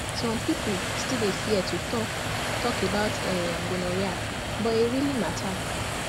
some people still dey fear to talk talk about um gonorrhea but e really matter